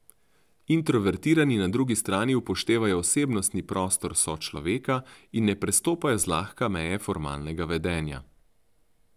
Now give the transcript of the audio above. Introvertirani na drugi strani upoštevajo osebnostni prostor sočloveka in ne prestopajo zlahka meje formalnega vedenja.